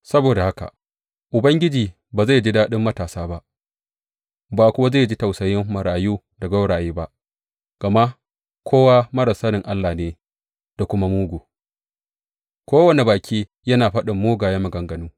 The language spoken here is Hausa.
Saboda haka Ubangiji ba zai ji daɗin matasa ba, ba kuwa zai ji tausayin marayu da gwauraye ba, gama kowa marar sanin Allah ne da kuma mugu, kowane baki yana faɗin mugayen maganganu.